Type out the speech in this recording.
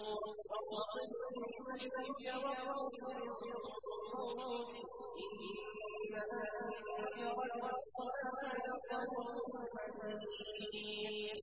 وَاقْصِدْ فِي مَشْيِكَ وَاغْضُضْ مِن صَوْتِكَ ۚ إِنَّ أَنكَرَ الْأَصْوَاتِ لَصَوْتُ الْحَمِيرِ